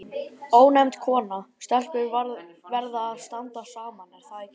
Ónefnd kona: Stelpur verða að standa saman, er það ekki?